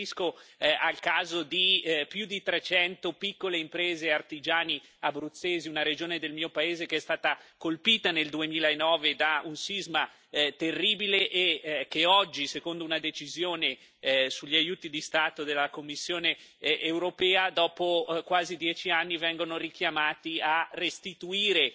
Mi riferisco al caso di più di trecento piccole imprese e artigiani abruzzesi, una regione del mio paese che è stata colpita nel 2009 da un sisma terribile e che oggi, secondo una decisione sugli aiuti di Stato della Commissione europea, dopo quasi dieci anni vengono invitati a restituire